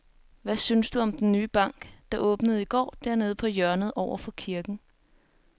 Hvad synes du om den nye bank, der åbnede i går dernede på hjørnet over for kirken?